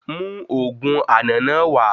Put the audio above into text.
Mú òògùn àna náà wá